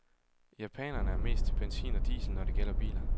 Japanerne er mest til benzin og diesel, når det gælder biler.